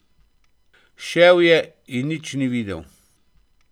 Šel je in nič ni videl.